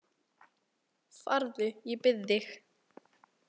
Farðu, ég bið þig